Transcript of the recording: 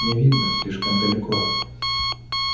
не видно слишком далеко